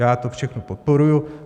Já to všechno podporuji.